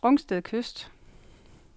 Rungsted Kyst